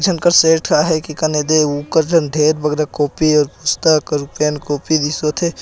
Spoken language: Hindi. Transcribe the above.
एक जन कर सेट का है उ कर उ कर ढेर जन का कॉपी अर पुस्तक पेन कॉपी दिशत हे|